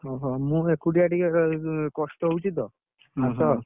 ଓହୋ! ମୁଁ ଏକୁଟିଆ ଟିକେ କଷ୍ଟ ହଉଛି ତ, ଆସ